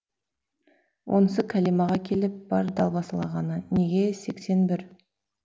онысы кәлимаға келіп бар далбасалағаны неге сексенбір